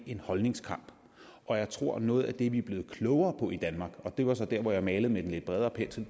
en holdningskamp og jeg tror at noget af det vi blevet klogere på i danmark og det var så dér hvor jeg malede med den lidt bredere pensel